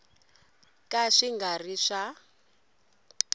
ka swi nga ri swa